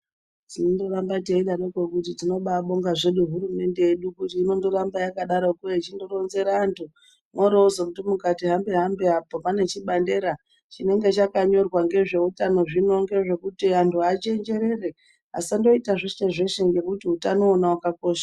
Tinongoramba teidaroko kuti tinobabonga zvedu hurumende yedu kuti inondoramba yakadaroko yechindoronzera antu. Mworozondi mukati hambe hambe apo panechibandera chinenge chaka nyorwa ngezveutano zvino ngezvekuti antu achenjerere asandoita zveshe zveshe ngekut utano wona wakakosha.